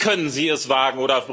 Wie können Sie es wagen!